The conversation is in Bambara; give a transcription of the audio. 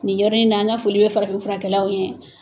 Ni yɔrɔ in na, an ka foli bɛ farafin furakɛlaw ye.